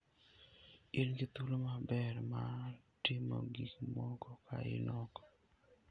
In gi thuolo maber mar timo gik moko ka in oko.